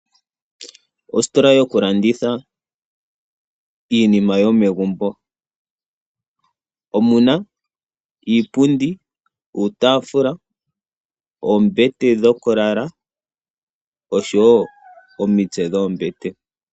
Ositola yo kulanditha iinima yomegumbo omuna iipundi ,uutafula ,oombete dhokulala osho wo omiitse dhoombete.